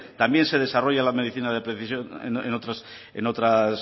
también se desarrolla la medicina de precisión en otras